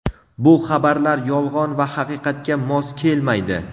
bu xabarlar yolg‘on va haqiqatga mos kelmaydi.